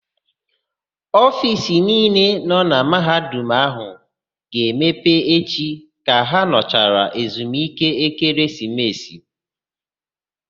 Ofiisi niile nọ na Mahadum áhụ̀ ga-emepe echi ka ha nọchara ezumike ekeresimesi.